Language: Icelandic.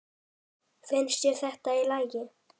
Finnst þér þetta í lagi?